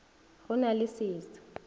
go na le se sa